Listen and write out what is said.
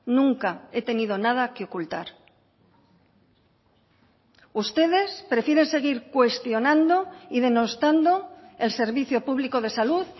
nunca he tenido nada que ocultar ustedes prefieren seguir cuestionando y denostando el servicio público de salud